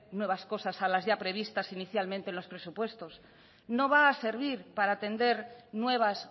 nuevas cosas a las ya previstas inicialmente en los presupuestos no va a servir para atender nuevas